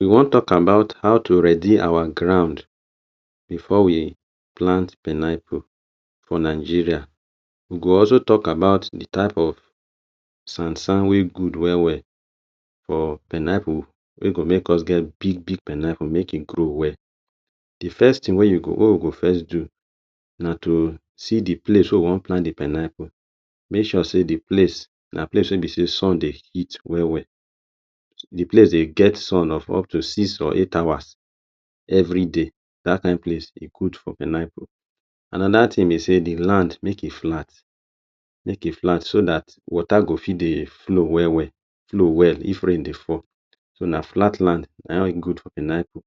We wan talk about how to ready our ground before we plant pineapple for Nigeria. We go also talk about the type of sand-sand wey good well-well for pineapple wey go make us get big-big pineapple make e grow well. The first tin wey you go wey we go first do na to see the place wey we wan plant the pineapple. Make sure sey the place na place wey be sey sun dey hit well-well—the place dey get sun of up to six or eight hours everyday— dat kain place, e good for pineapple. Another tin be sey the land, make e flat. Make e flat so dat water go fit dey flow well-well, flow well if rain dey fall. So, na flat land na good for pineapple.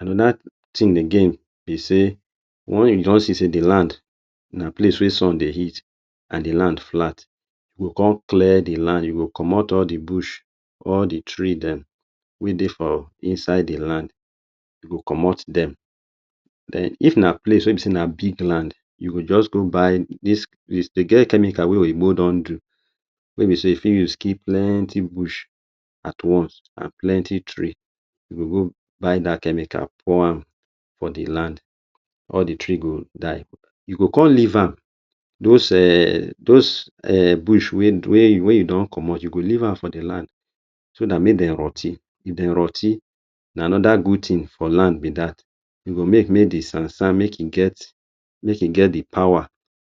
Another tin again be sey one you don see sey the land na place wey sun dey hit, an the land flat, you go con clear the land, you go comot all the bush. All the tree dem wey dey for inside the land, you go comot dem. Then, if na place wey be sey na big land, you go juz go buy dis de get chemical wey oyinbo don do wey be sey you fit use kill plenty bush at once an plenty tree. You go go buy dat chemical pour am for the land. All the tree go die. You go con leave am dos um dos um bush wey wey wey you don comot, you go leave am for the land so dat make dem rot ten. If dem rot ten, na another good tin for land be dat. E go make make the sand-sand make e get make e get the power,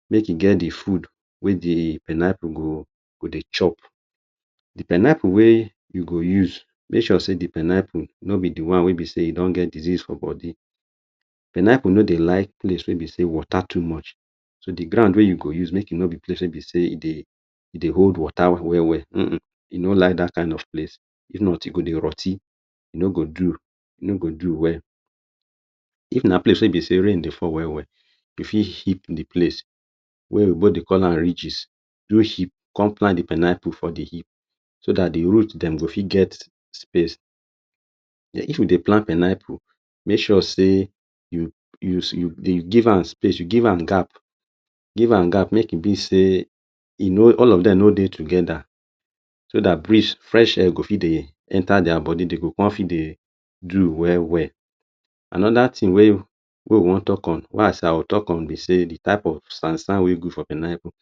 make e get the food wey the pineapple go go dey chop. The pineapple wey you go use, make sure sey the pineapple no be the one wey be sey e don get disease for body. Pineapple no dey like place wey be sey water too much. So, the ground wey you go use, make e no be place wey be sey e dey e dey hold water well well-well. Uhn uhn, e no like dat kain of place. If not, e go dey rot ten. E no go do. E no go do well. If na place wey be sey rain dey fall well-well, you fit heap the place wey oyinbo dey call am ridges. Do heap, con plant the pineapple for the heap so dat the root dem go fit get space. If you dey plant pineapple, make sure sey you you you you give am space, you give am gap. Give am gap make e be sey e no all of dem no dey together so dat breeze—fresh air—go fit dey enter dia body, de go con fit dey do well-well. Another tin wey we wey we wan talk on wey I say I will talk on be sey the type of sand-sand wey good for pineapple.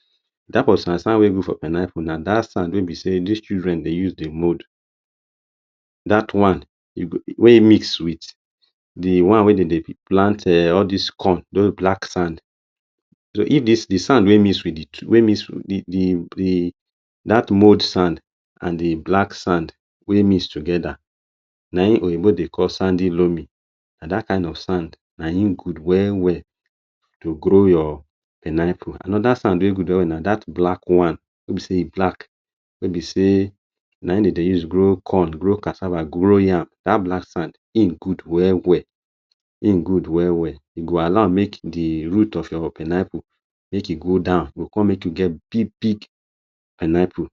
Type of sand-sand wey good for pineapple na dat sand wey be sey dis children dey use dey mould. Dat one you go wey mix with the one wey de dey fit plant um all dis corn—dos black sand. So, if dis the sand wey mix with the two wey mix with the the the dat mould sand an the black sand wey mix together, na ein oyinbo dey call sandy-loamy. Na dat kain of sand na ein good well-well to grow your pineapple. Another sand wey good well-well na dat black one sey be set e black wey be sey na ein de dey use grow corn, grow cassava, grow yam, dat black sand, ein good well-well, ein good well-well. E go allow make the root of your pineapple make e go down. E go con make you get big-big pineapple